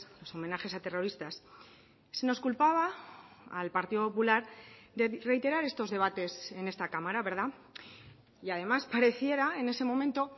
los homenajes a terroristas se nos culpaba al partido popular de reiterar estos debates en esta cámara verdad y además pareciera en ese momento